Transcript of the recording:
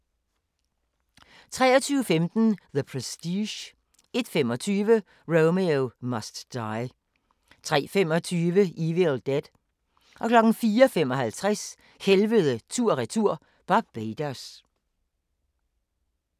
23:15: The Prestige 01:25: Romeo Must Die 03:25: Evil Dead 04:55: Helvede tur/retur - Barbados